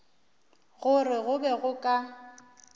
gore go be go ka